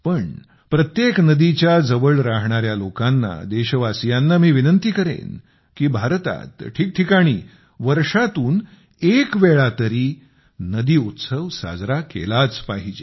पण प्रत्येक नदीच्या जवळ राहणाऱ्या लोकांना देशवासीयांना मी विनंती करेन की भारतात ठिकठिकाणी वर्षातून एक वेळा तरी नदी उत्सव साजरा केलाच पाहिजे